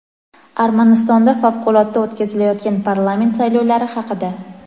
Armanistonda favqulodda o‘tkazilayotgan parlament saylovlari haqida.